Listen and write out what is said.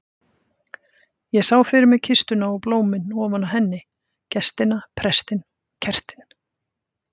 Ég sá fyrir mér kistuna og blómin ofan á henni, gestina, prestinn, kertin.